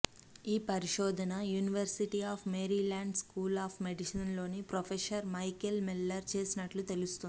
ఈ పరిశోధన university of Maryland school of medicine లోని ప్రొఫెసర్ మైకేల్ మిల్లరు చేసినట్లు తెలిపింది